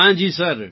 હા જી સર